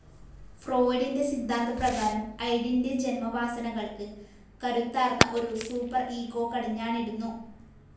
ഫ്രോയ്ഡിൻ്റെ സിദ്ധാന്തപ്രകാരം id ൻ്റെ ജന്മവാസനകൾക്ക് കരുത്താർന്ന ഒരു സൂപ്പർ ഇഗോ കടിഞ്ഞാണിടുന്നു.